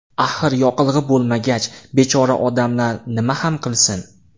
Axir yoqilg‘i bo‘lmagach, bechora odamlar nima ham qilsin?